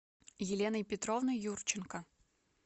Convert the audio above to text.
еленой петровной юрченко